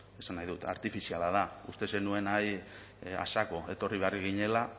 esan nahi dut artifiziala da uste zenuen ahí a saco etorri behar ginela